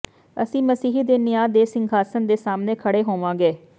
ਅਸੀਂ ਮਸੀਹ ਦੇ ਨਿਆਂ ਦੇ ਸਿੰਘਾਸਣ ਦੇ ਸਾਮ੍ਹਣੇ ਖੜ੍ਹੇ ਹੋਵਾਂਗੇ